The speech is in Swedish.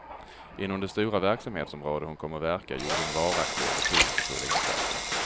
Inom det stora verksamhetsområde hon kom att verka gjorde hon varaktiga och betydelsefulla insatser.